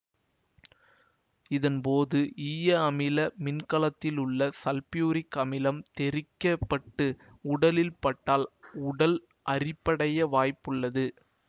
இதன் போது ஈயஅமில மின்கலத்திலுள்ள சல்பூரிக் அமிலம் தெறிக்கப்பட்டு உடலில் பட்டால் உடல் அரிப்படைய வாய்ப்புண்டு